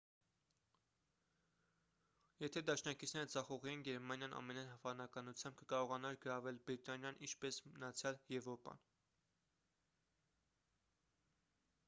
եթե դաշնակիցները ձախողեին գերմանիան ամենայն հավանականությամբ կկարողանար գրավել բրիտանիան ինչպես մնացյալ եվրոպան